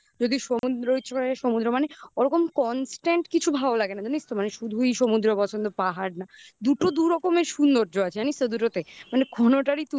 যদি সমুদ্র ইচ্ছে করে সমুদ্র মানে ওরকম constant কিছু ভালো লাগে না. জানিস তো? মানে শুধুই সমুদ্র অপছন্দ, পাহাড় না. দুটো দু'রকমের সৌন্দর্য আছে. জানিস তো দুটোতে. মানে